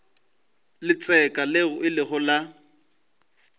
letseka leo le ilego la